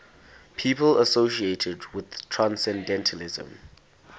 people associated with transcendentalism